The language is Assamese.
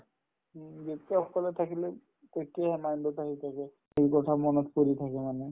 উম, যেতিয়া অকলে থাকিলে তেতিয়া mind ত থাকে সেইকথা মনত পৰি থাকে মানে